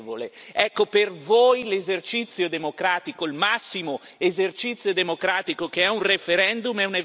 voi l'esercizio democratico, il massimo esercizio democratico, il referendum, è un evento deplorevole.